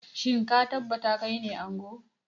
Shin ka tabbata kaine ango?